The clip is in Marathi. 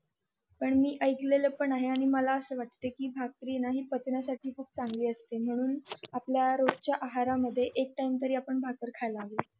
पण मी ऐकलेलं पण आहे आणि मला असं वाट कि भाकरी पचण्यासाठी पण खूप चांगली असते म्हणून आपल्या रोज च्या आहार मधे एक टाइम तरी आपण भाकर खायला हवी